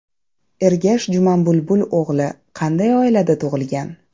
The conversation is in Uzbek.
Ergash Jumanbulbul o‘g‘li qanday oilada tug‘ilgan?.